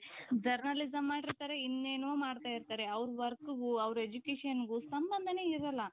Journalism ಮಾಡಿರ್ತಾರೆ ಇನ್ನೇನೋ ಮಾಡ್ತಾ ಇರ್ತಾರೆ ಅವರ workಗೂ ಅವರ educationಗೂ ಸಂಬಂಧಾನೆ ಇರೋಲ್ಲಾ .